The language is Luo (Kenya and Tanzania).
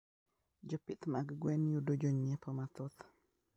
Jopith mag gwen yudo jonyiepo mathoth.